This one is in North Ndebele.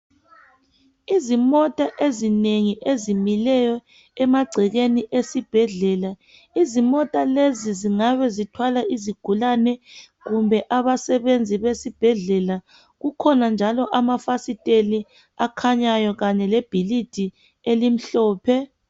Izimota ezinengi ezimileyo emagcekeni esibhedlela. Izimota lezi zingabe zithwala izigulane kumbe abasebenzi besibhedela. Kukhona njalo amafasiteli akhanyayo kanye lebhilidi elimhlophe.